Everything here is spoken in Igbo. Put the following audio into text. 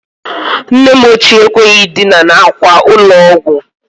Nne m ochie ekweghi idina n'akwa ụlọ ọgwọ